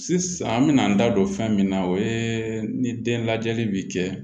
Sisan an mɛna an da don fɛn min na o ye ni den lajɛli bi kɛ